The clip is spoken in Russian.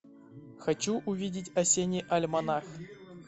хочу увидеть осенний альманах